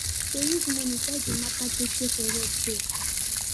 dem use monie die de mata jeje for road there